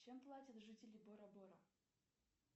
чем платят жители бора бора